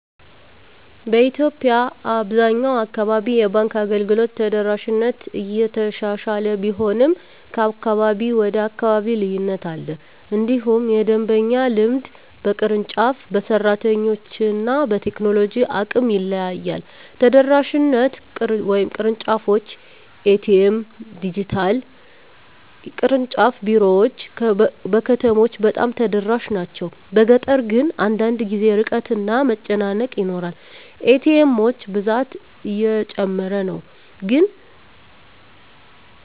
በኢትዮጵያ አብዛኛው አካባቢ የባንክ አገልግሎት ተደራሽነት እየተሻሻለ ቢሆንም ከአካባቢ ወደ አካባቢ ልዩነት አለ። እንዲሁም የደንበኛ ልምድ በቅርንጫፍ፣ በሰራተኞች እና በቴክኖሎጂ አቅም ይለያያል። ተደራሽነት (ቅርንጫፎች፣ ኤ.ቲ.ኤም፣ ዲጂታል) ቅርንጫፍ ቢሮዎች በከተሞች በጣም ተደራሽ ናቸው፤ በገጠር ግን አንዳንድ ጊዜ ርቀት እና መጨናነቅ ይኖራል። ኤ.ቲ. ኤሞች ብዛት እየጨመረ ነው፣ ግን